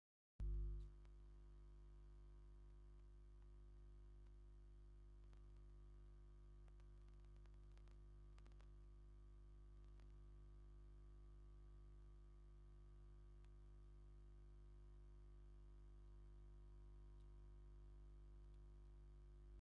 ከም ድሬዳዋ ኢትዮጵያ ዝኣመሰላ ከተማ ወይ ከባቢ ካብ ኣየር ምርኣይ የርኢ። ብዙሕ ህንጻታትን ገዛውትን ኣለዎ። ነዚ ምስሊ ክትጥምት ከለኻ እንታይ ዓይነት ናይ ሰላምን ቅሳነትን ስምዒት ይስምዓካ?